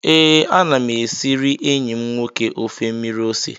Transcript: Ee, ana m esiri enyi m nwoke ofe mmiri ose